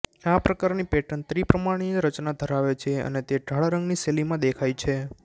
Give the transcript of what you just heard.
આ પ્રકારની પેટર્ન ત્રિપરિમાણીય રચના ધરાવે છે અને તે ઢાળ રંગની શૈલીમાં દેખાય છે